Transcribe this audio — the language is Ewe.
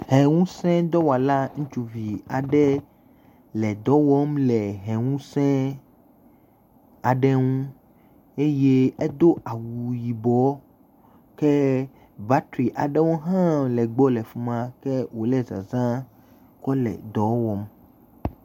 Hɛ ŋusẽdɔwɔla ŋutsuvi aɖe le dɔ wɔm le hɛ ŋuse aɖe ŋu le eye edo awu yibɔ eye battery aɖewo hã le egbɔ fi ma ke wo zãzãme kɔ le dɔa wɔm